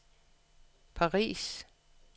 Paris